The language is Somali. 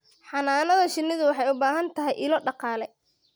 Xannaanada shinnidu waxay u baahan tahay ilo dhaqaale.